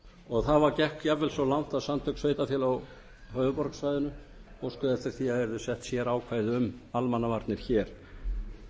og það gekk jafnvel svo langt að samtök sveitarfélaga á höfuðborgarsvæðinu óskuðu eftir því að það yrðu sett upp sérákvæði um almannavarnir hér mér